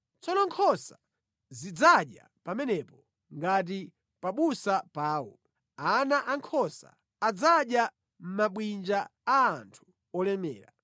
Tsono nkhosa zidzadya pamenepo ngati pabusa pawo; ana ankhosa adzadya mʼmabwinja a anthu olemera.